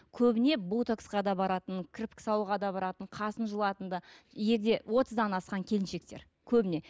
көбіне ботоксқа да баратын кірпік салуға да баратын қасын жұлатын да егде отыздан асқан келіншектер көбіне